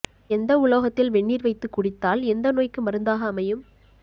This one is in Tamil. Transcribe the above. எந்த உலோகத்தில் வெந்நீர் வைத்து குடித்தால் எந்த நோய்க்கு மருந்தாக அமையும்